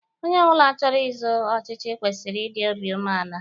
Onye ọbụla chọrọ izọ ọchịchị kwesịrị idi obi umeala.